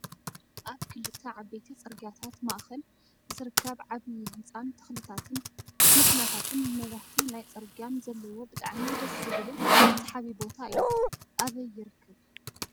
ኣብ ክልተ ዓበይቲ ፅርግያታት ማእከል ዝርከብ ዓብይ ህንፃን ተክልታትን መኪናታትን መብራህቲ ናይ ፅርግያን ዘለዎ ብጣዕሚ ደስ ዝብልን ስሓቢ ቦታ እዩ። ኣበይ ይርከብ?